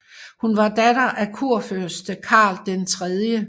Hun var datter af kurfyrste Karl 3